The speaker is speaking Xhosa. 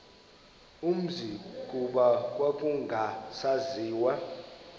umzi kuba kwakungasaziwa